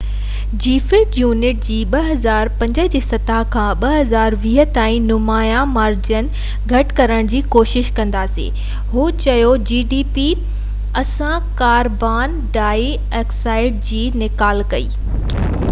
اسان carbon dioxide جي نيڪال کي gdp جي في يونٽ جي 2005 جي سطح کان 2020 تائين نمايان مارجن گهٽ ڪرڻ جي ڪوشش ڪنداسين هو چيو